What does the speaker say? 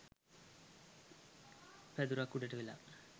පැදුරක් උඩට වෙලා